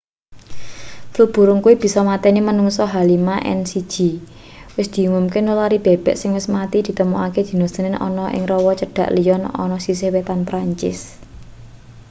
flu burung kuwi bisa mateni manungsa h5n1 wis diumumke nulari bebek sing wis mati ditemokake dina senen ana ning rawa cedhak lyon ana sisih wetan perancis